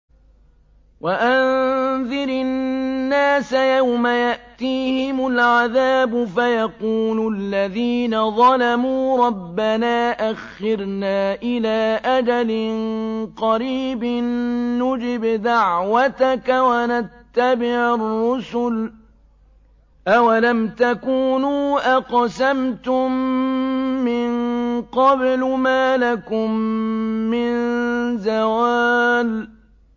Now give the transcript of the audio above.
وَأَنذِرِ النَّاسَ يَوْمَ يَأْتِيهِمُ الْعَذَابُ فَيَقُولُ الَّذِينَ ظَلَمُوا رَبَّنَا أَخِّرْنَا إِلَىٰ أَجَلٍ قَرِيبٍ نُّجِبْ دَعْوَتَكَ وَنَتَّبِعِ الرُّسُلَ ۗ أَوَلَمْ تَكُونُوا أَقْسَمْتُم مِّن قَبْلُ مَا لَكُم مِّن زَوَالٍ